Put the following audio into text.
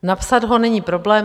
Napsat ho není problém.